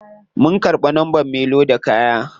Mun karbi numbern me loda kaya.